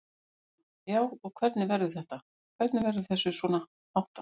Telma: Já, og hvernig verður þetta, hvernig verður þessu svona háttað?